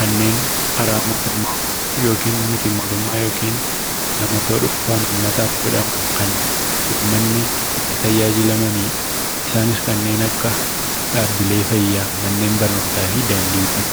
kanneen karaa mootummaa yookiin miti mootummaa yookiin namoota dhuunfaan uummataaf godhaman kan uummanni itti tajaajilamanidha. Isaanis kanneen akka dhaabbilee fayyaa, manneen barnootaa fi daandiiwwan.